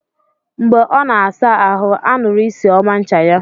Mgbe ọ na-asa ahụ, a nụrụ isi ọma ncha ya.